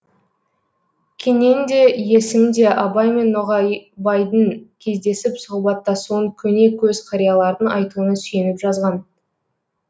кенен де есім де абай мен ноғайбайдың кездесіп сұхбаттасуын көне көз қариялардың айтуына сүйеніп жазған